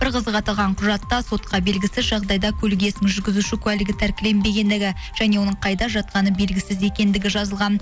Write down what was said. бір қызығы аталған құжатта сотқа белгісіз жағдайда көлік иесінің жүргізуші куәлігі тәркіленбегендігі және оның қайда жатқаны белгісіз екендігі жазылған